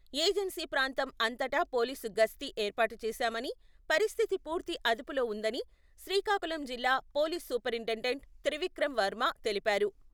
Agency ప్రాంతం అంతటా police గస్తీ ఏర్పాటు చేశామని, పరిస్థితి పూర్తి అదుపులో ఉందని, శ్రీకాకుళం జిల్లా పోలిస్ సూపరింటెండెంట్ త్రివిక్రమ్ వర్మ తెలిపారు.